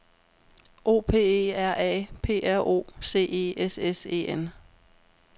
O P E R A P R O C E S S E N